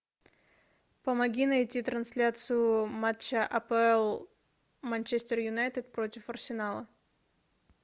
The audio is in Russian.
помоги найти трансляцию матча апл манчестер юнайтед против арсенала